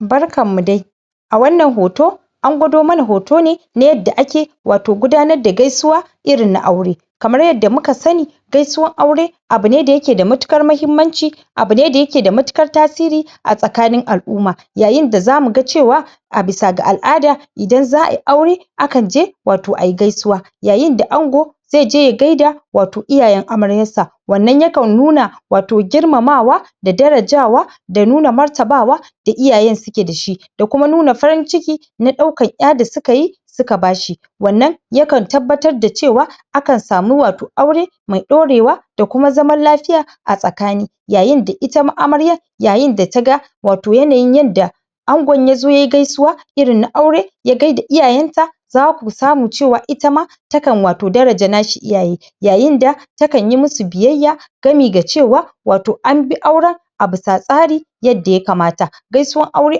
barkan mu dai a wannan hoto an gwado mana hoto ne yadda ake wato guda nar da gaisuwa irin na aure kamar yadda muka sani gaisuwan aure abu ne da yake da matukan mahimmanci abu ne da yake da matukar tasiri a tsakanin al'umma yayin da zamu ga cewa abisa ga al'ada idan za'a yi aure akan je wato ayi gaisuwa yayin da ango dai je ya gaida wato iyayen amaryar sa wannan yakan nuna wato girmama wa da darajawa da nuna martabawa da iyayen suke da shi da kuma nuna farin ciki na daukan ƴa da suka yi suka bashi wannan yakan tabbatar da cewa akan samu wato aure mai ɗorewa da kuma zaman lafiya a tsakani yaiyn da ita ma amaryan yayin da taga wato yanayin yadda angon ya zo yaiy gaisuwa irin na aure ya gaida iyayen ta zaku samu cewa ita ma takan wato daraja nashi iya ye yayi da takan yi musu biyayya gami ga cewa an bi auren abisa tsari yadda ya kanata gaisuwan aure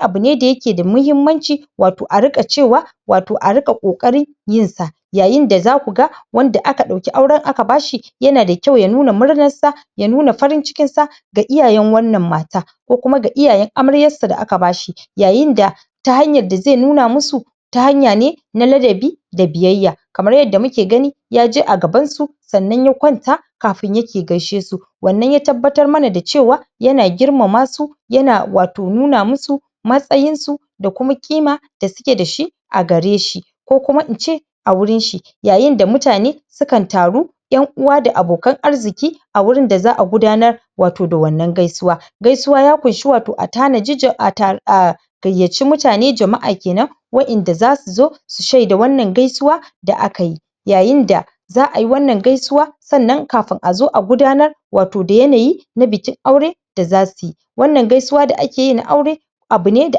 abu ne da yake da mutunci wato ariƙa cewa wato ariƙa ƙoƙari yin sa yayin da zaku ga wanda aka ɗauki auren aka bashi yana da kyau ya nuna murnar sa ya nuna farin cikin sa ga iyayen wannan ma ta ko kuma ga iyayen amaryan sa da aka bashi yayinda ta hanyan da zai nuna musu ta hanya ne na ladabi da biyayya kamar yadda muke gani ya je agaban su sannan ya kwanta kafin yake gaishe su wanna ya tabbatar mana da cewa yana girmama su yan wato nuna musu matsayin su da kuma ƙima da ske da shi agare shi ko kuma ince a wurin shi yayin da mutane sukan taru yan uwa da abokan arziki a wurin da za'a gudanar wato da wanna gaisuwa gaisuwa ya kunshi a tana ji, atanaji gayyaci mutane wato jama'a kenan waƴanda zasu zo su shaida wannan gaisuwa da akayi yayin da za'a yi wannan gaisuwa sannan kafi azo agudanar wato da yanayi na bikin aure da za suyi wannan gaisuwa da akeyi na aure abu ne da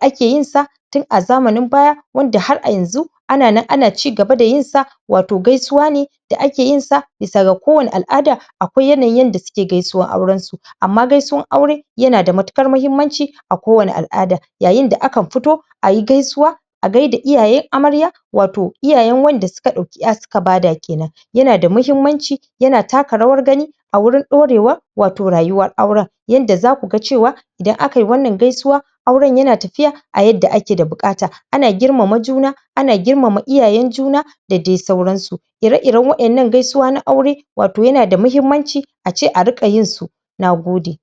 ake yin sa tun azamanin baya wanda har ayanzu anan an cigaba dayin sa wato gaisuwa ne da ake yin sa bisa ga kowani al'ada akwai yanayin yanda suke gaisuwan auren su ammagasuwan aure yanada matukarmahimmanci a kowani al'ada yayin da akan fito ayi gaisuwa agaida iyaye amarya wato iyayen wanda suka ɗauki ƴa suka bada kenan yana da mahimmanci yana taka rawar gani awurin ɗorewa wato rayuwar auren yanda zaku ga cewa idan akayi wannan gaisuwa auren yana tafiya ayadda ake da buƙata ana girmana juna ana girmama iyayyen juna da dai sauran su ire ire waƴannan gaisuwa na aure wato yana da mahimmanci ace ariƘa yin su nagode